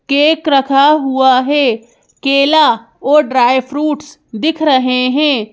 Cake रखा हुआ है केला और ड्राई फ्रूट्स दिख रहे हैं।